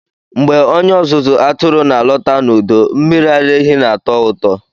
Mgbe onye ọzụzụ atụrụ na-alọta n'udo, mmiri ara ehi na-atọ ụtọ.